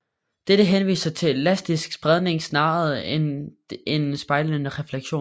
Dette henviser til elastisk spredning snarere end en spejlende refleksion